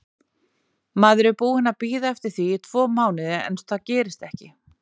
Maður er búinn að bíða eftir því tvo mánuði en það gerist ekki.